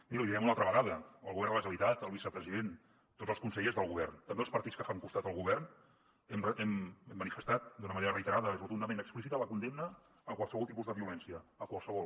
miri l’hi direm una altra vegada el govern de la generalitat el vicepresident tots els consellers del govern també els partits que fan costat al govern hem manifestat d’una manera reiterada i rotundament explícita la condemna a qualsevol tipus de violència a qualsevol